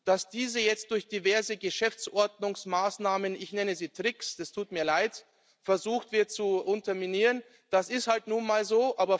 Dass jetzt durch diverse Geschäftsordnungsmaßnahmen ich nenne sie Tricks, es tut mir leid versucht wird, diese zu unterminieren, das ist halt nun mal so.